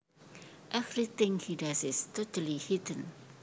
Everything he does is totally heathen